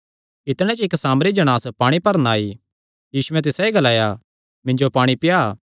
इतणे च इक्क सामरी जणांस पाणी भरणा आई यीशुयैं तिसायो ग्लाया मिन्जो पाणी पिया